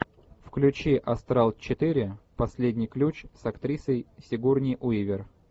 включи астрал четыре последний ключ с актрисой сигурни уивер